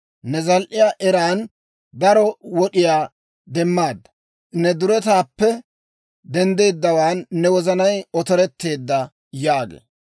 Ne zal"iyaa eran daro wod'iyaa demmaadda; ne duretaappe denddeeddawaan ne wozanay otoretteedda» yaagee.